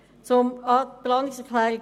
Zur Planungserklärung 2: